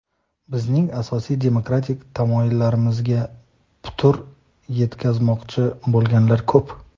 bizning asosiy demokratik tamoyillarimizga putur yetkazmoqchi bo‘lganlar ko‘p.